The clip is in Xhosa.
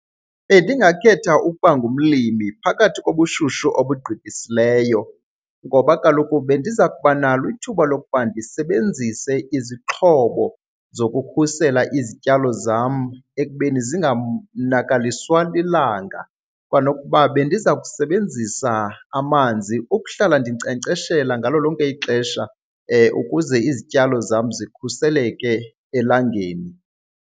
Bendingakhetha ukuba ngumlimi phakathi kobushushu obugqithisileyo. Ngoba kaloku bendiza kuba nalo ithuba lokuba ndisebenzise izixhobo zokukhusela izityalo zam ekubeni zinganakaliswa lilanga kwanokuba bendiza kusebenzisa amanzi ukuhlala ndinkcenkceshela ngalo lonke ixesha ukuze izityalo zam zikhuseleke elangeni.